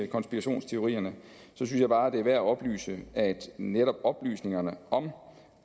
konspirationsteorierne synes jeg bare det er værd at oplyse at netop oplysningerne om